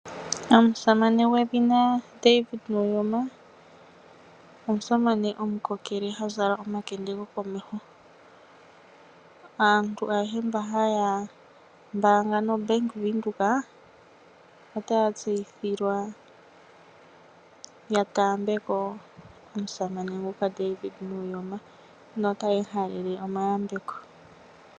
Omusamane gwedhina David Nuyoma omusamane gomukokele ha zala omakende gokomeho. Aantu ayehe mboka haya mbaanga noBank Windhoek otaya tseyithilwa ya taambe ko omusamane David Nuyoma notaye mu halele omahaleloyambeko.